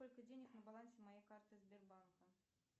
сколько денег на балансе моей карты сбербанка